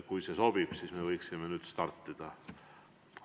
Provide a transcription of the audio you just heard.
Kui see sobib, siis me võiksime startida.